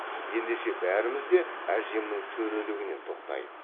ендеше бәріміз де әжемнің төрелігіне тоқтайық